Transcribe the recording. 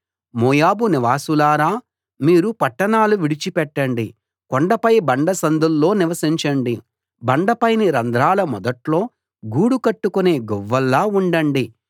మోయాబు నివాసులారా మీరు పట్టణాలు విడిచి పెట్టండి కొండపై బండ సందుల్లో నివసించండి బండపైని రంధ్రాల మొదట్లో గూడు కట్టుకునే గువ్వల్లా ఉండండి